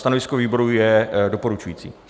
Stanovisko výboru je doporučující.